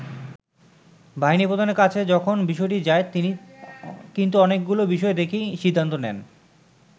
বাহিনী প্রধানের কাছে যখন বিষয়টি যায়, তিনি কিন্তু অনেকগুলো বিষয় দেখেই সিদ্ধান্ত নেন।